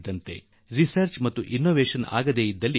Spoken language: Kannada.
ಒಂದು ವೇಳೆ ಸಂಶೋದನೆ ಮತ್ತು ಅನ್ವೇಷಣೆ ಆಗಲಿಲ್ಲ ಎಂ